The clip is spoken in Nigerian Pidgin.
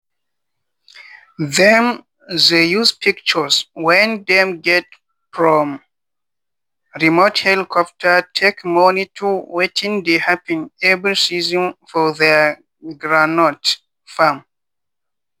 them they use pictures when dem get from remote helicopter take monitor wetin dey happen every season for their groundnut farm.